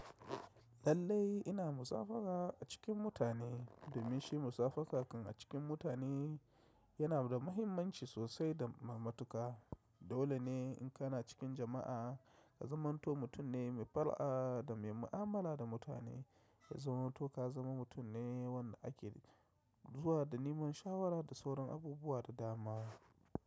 Lallai ina musabaha a cikin mutane da mishi musabaha kan a cikin mutane yana da mahimmanci sosai domin matuƙa. Dole ne in kana cikin jama'a ka zamanto mutum ne mai fara'a da mai mu'amala da mutane. Ka zamanto ka zama mutum ne wanda ake zuwa da neman shawara da sauran abubuwa da dama.